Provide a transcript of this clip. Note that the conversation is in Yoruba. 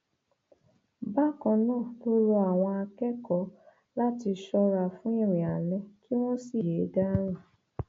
bákan náà ló rọ àwọn akẹkọọ láti ṣọra fún irin alẹ kí wọn sì yéé dà rìn